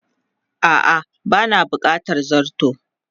A'a ba na bukatar zarto.